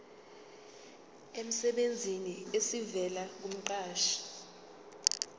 emsebenzini esivela kumqashi